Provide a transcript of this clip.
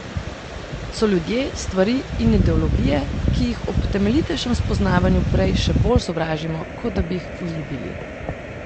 So ljudje, stvari in ideologije, ki jih ob temeljitejšem spoznavanju prej še bolj sovražimo, kot da bi jih vzljubili.